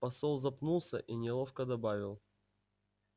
посол запнулся и неловко добавил